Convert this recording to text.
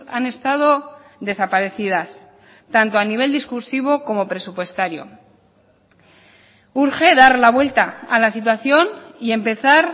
han estado desaparecidas tanto a nivel discursivo como presupuestario urge dar la vuelta a la situación y empezar